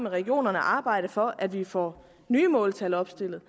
regionerne at arbejde for at vi får nye måltal opstillet